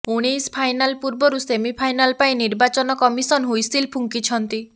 ଉଣେଇଶ ଫାଇନାଲ୍ ପୂର୍ବରୁ ସେମିଫାଇନାଲ ପାଇଁ ନିର୍ବାଚନ କମିସନ୍ ହ୍ବିସିଲ୍ ଫୁଙ୍କିଛନ୍ତି